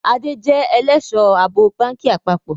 Adé jẹ ẹlẹ́sọ̀-àbò báńkì àpapọ̀